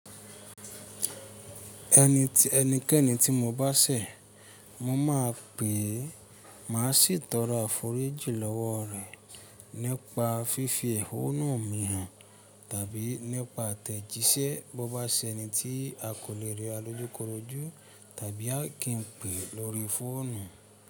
Ẹnikẹ́ni tí mo bá ṣẹ̀, mo máa pèé, má sì tọrọ àforíjì lọ́wọ́ rẹ̀ nípa fífi ẹ̀hónú mi hàn tàbí nípa atẹ̀jíṣẹ́ bó bá ṣẹni tí a kò lè rí ọ lójúkorojú tàbí a kì í pè lórí fóònù.